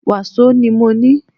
Wàsó ni mọ ní.